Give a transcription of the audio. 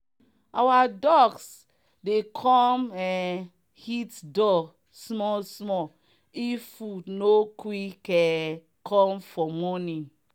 our ducks dey come um hit door small small if food no quick um come for morning.